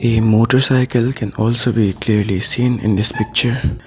A motorcycle can also be clearly seen in this picture.